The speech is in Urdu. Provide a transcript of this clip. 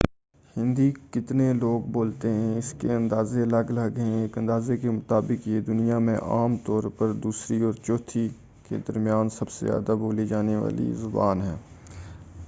ہندی کتنے لوگ بولتے ہیں اس کے اندازے الگ الگ ہیں ایک اندازے کے مطابق یہ دنیا میں عام طور پر دوسری اور چوتھی کے درمیان سب سے زیادہ بولی جانے والی زبان ہے